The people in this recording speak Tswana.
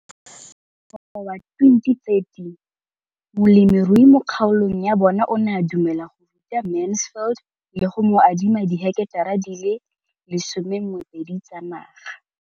Ka ngwaga wa 2013, molemirui mo kgaolong ya bona o ne a dumela go ruta Mansfield le go mo adima di heketara di le 12 tsa naga.